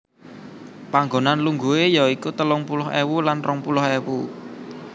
Panggonan lungguhe ya iku telung puluh ewu lan rong puluh ewu